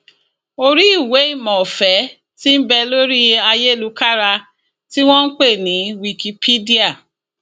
orí ìwéìmọ ọfẹ tí nbẹ lórí ayélukára tí wọn npè ní wikipedia